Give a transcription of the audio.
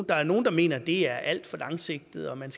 der er nogle der mener at det er alt for langsigtet og at man